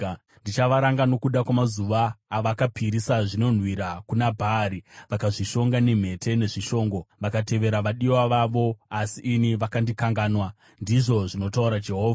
Ndichavaranga nokuda kwamazuva avakapisira zvinonhuhwira kuna Bhaari; vakazvishonga nemhete nezvishongo, vakatevera vadiwa vavo, asi ini vakandikanganwa,” ndizvo zvinotaura Jehovha.